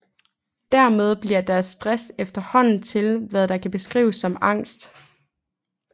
Dermed bliver deres stress efterhånden til hvad der kan beskrives som angst